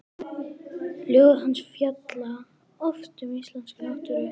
Ljóð hans fjalla oft um íslenska náttúru.